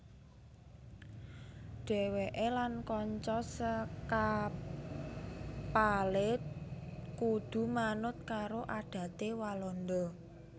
Dhèwèké lan kanca sekapalé kudu manut karo adaté Walanda